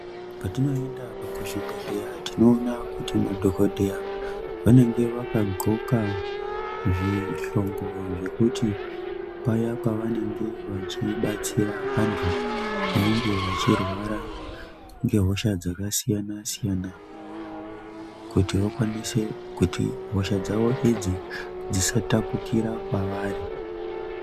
Patinoenda kuzvibhedhleya tinoona kuti madhokodheya vanenge vakadxoka zvihlongo zvekuti paya pavanenge vachibatsira antu vanenge vachirwara ngehosha dzakasiyana-siyana kuti vakwanise kuti hosha dzavo idzi dzisatapukira kwavari.